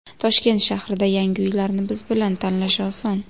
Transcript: Toshkent shahrida yangi uylarni biz bilan tanlash oson!